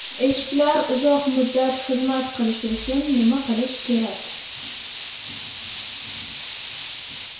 Eshiklar uzoq muddat xizmat qilishi uchun nima qilish kerak?